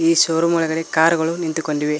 ಈ ಶೋರೂಮ್ ಒಳಗಡೆ ಕಾರುಗಳು ನಿಂತುಕೊಂಡಿವೆ.